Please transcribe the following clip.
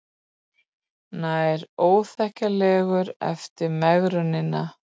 Nær óþekkjanlegur eftir megrunina